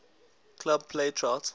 club play chart